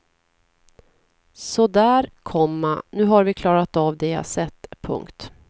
Så där, komma nu har vi klarat av de jag sett. punkt